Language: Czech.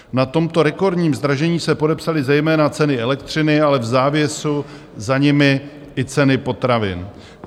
Na tomto rekordním zdražení se podepsaly zejména ceny elektřiny, ale v závěru za nimi i ceny potravin.